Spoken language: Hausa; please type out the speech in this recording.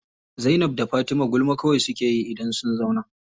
Zainab da Fatima gulma kawai suke yi idan sun zauna.